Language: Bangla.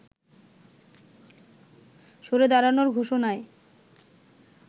সরে দাঁড়ানোর ঘোষণায়